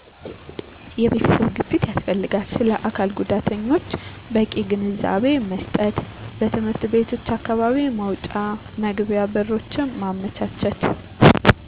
የቤተሰብ ግፊት ያስፈልጋል ስለአካልጉዳተኞች በቂ ግንዛቤመስጠት በትምህርት ቤቶች አካባቢ መውጫ መግቢያ በሮችን ማመቻቸት